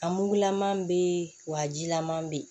A mugulama bɛ yen wa a jilaman bɛ yen